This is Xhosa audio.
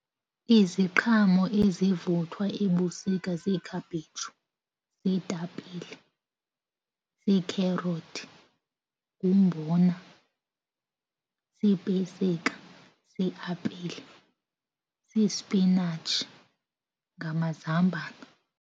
Iziqhamo ezivuthwa ebusika ziikhaphetshu, ziitapile, ziikherothi, ngumbona, ziipesika, ziiapile, sispinatshi ngamazambane.